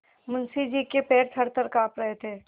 मुंशी जी के पैर थरथर कॉँप रहे थे